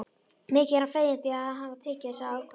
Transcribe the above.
Mikið er hann feginn því að hafa tekið þessa ákvörðun.